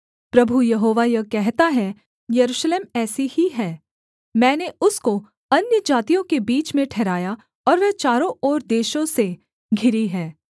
प्रभु यहोवा यह कहता है यरूशलेम ऐसी ही है मैंने उसको अन्यजातियों के बीच में ठहराया और वह चारों ओर देशों से घिरी है